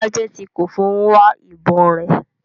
Sajenti Koffo n wa ibon re